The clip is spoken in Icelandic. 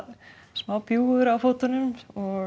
smá bjúgur á fótunum